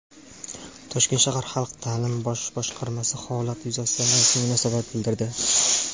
Toshkent shahar Xalq ta’limi bosh boshqarmasi holat yuzasidan rasmiy munosabat bildirdi.